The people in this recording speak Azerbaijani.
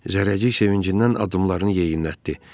Zərrəcik sevincindən addımlarını yeyinlətdi.